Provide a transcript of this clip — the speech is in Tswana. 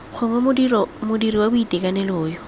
gongwe modiri wa boitekanelo yo